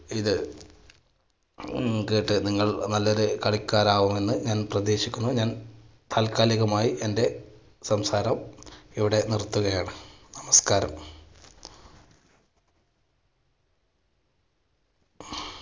ഇത് കേട്ട് നിങ്ങൾ നല്ലൊരു കളിക്കാരാകുമെന്ന് ഞാൻ പ്രതീക്ഷിക്കുന്നു. ഞാൻ തൽക്കാലം ഇതുമായി എൻറെ സംസാരം ഇവിടെ നിർത്തുകയാണ്, നമസ്കാരം.